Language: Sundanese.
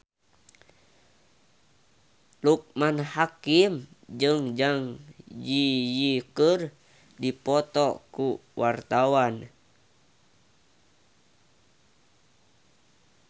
Loekman Hakim jeung Zang Zi Yi keur dipoto ku wartawan